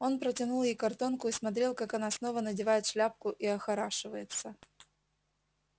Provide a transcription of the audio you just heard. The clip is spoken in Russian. он протянул ей картонку и смотрел как она снова надевает шляпку и охорашивается